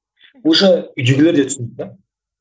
уже үйдегілер де түсінді де